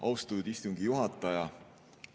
Austatud istungi juhataja!